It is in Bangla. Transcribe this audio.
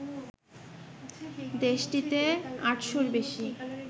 দেশটিতে আটশোর বেশি